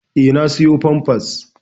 Eh na siƴo pampas.